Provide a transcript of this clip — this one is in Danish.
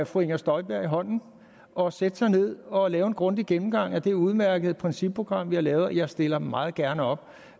fru inger støjberg i hånden og sætte sig ned og lave en grundig gennemgang af det udmærkede principprogram vi har lavet jeg stiller meget gerne op